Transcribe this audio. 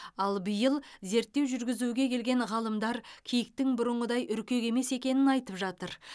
ал биыл зерттеу жүргізуге келген ғалымдар киіктің бұрынғыдай үркек емес екенін айтып жатыр